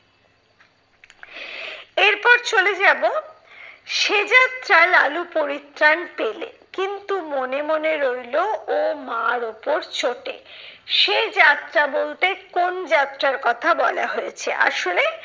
এরপর চলে যাবো, সে যাত্রায় লালু পরিত্রান পেলে। কিন্তু মনে মনে রইলো ও মার ওপর চোটে। সে যাত্রা বলতে কোন যাত্রার কথা বলা হয়েছে আসলে।